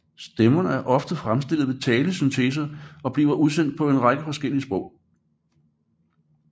Stemmerne er ofte fremstillet ved talesyntese og bliver udsendt på en række forskellige sprog